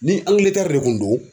Ni angiletɛri de kun do